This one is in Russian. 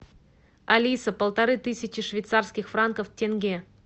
алиса полторы тысячи швейцарских франков в тенге